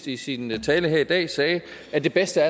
i sin tale her i dag sagde at det bedste